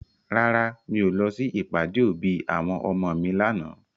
Rárá, mi ò lọ sí ìpàdé òbí àwọn ọmọ mi lànà.